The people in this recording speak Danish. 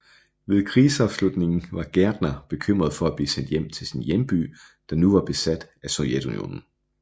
Ved krigsafslutningen var Gärtner bekymret for at blive sendt hjem til sin hjemby der nu var besat af Sovjetunionen